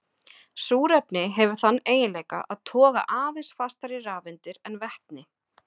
Súrefni hefur þann eiginleika að toga aðeins fastar í rafeindir en vetni.